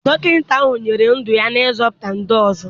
Dọkịta ahụ nyefere ndụ ya n'ịzọpụta ndị ọzọ.